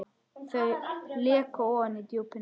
Þau leka ofan í djúpin.